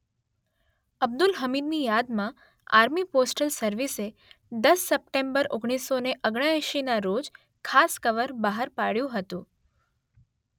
અબ્દુલ હમીદની યાદમાં army postal સર્વિસે દસ સપ્ટેમ્બર ઓગણીસો ને ઓગણએંશીના રોજ ખાસ કવર બહાર પાડ્યું હતું